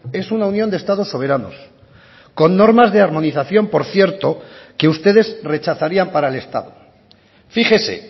es una unión de estados soberanos con normas de armonización por cierto que ustedes rechazarían para el estado fíjese